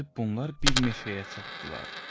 Gedib bunlar bir meşəyə çatdılar.